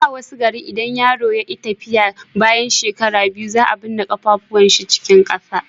a da a wasu garin in yaro ya ki tafiya bayan shekara biyu za a binne kafafuwan shi cikin ƙasa